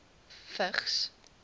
vigs